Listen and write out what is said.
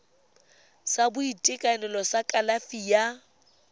sa boitekanelo sa kalafi ya